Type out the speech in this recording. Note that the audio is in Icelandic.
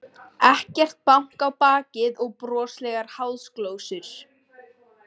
Ekkert bank á bakið og broslegar háðsglósur.